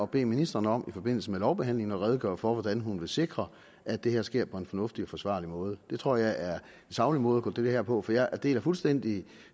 bede ministeren om i forbindelse med lovbehandlingen at redegøre for hvordan hun vil sikre at det her sker på en fornuftig og forsvarlig måde det tror jeg er en saglig måde at gå til det her på for jeg deler fuldstændig